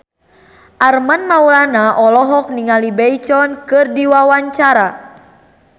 Armand Maulana olohok ningali Beyonce keur diwawancara